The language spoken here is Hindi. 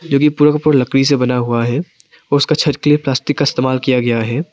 जो कि पूरा पूरा लकड़ी से का बना हुआ है उसका छत के लिए प्लास्टिक का इस्तेमाल किया गया है।